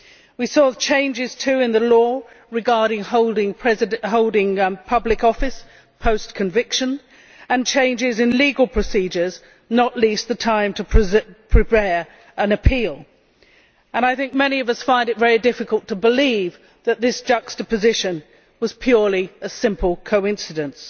We saw changes too in the law regarding holding public office post conviction, and changes in legal procedures, not least the time to prepare an appeal. I think many of us find it very difficult to believe that this juxtaposition was purely a simple coincidence.